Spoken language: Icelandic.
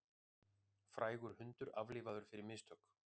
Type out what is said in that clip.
Frægur hundur aflífaður fyrir mistök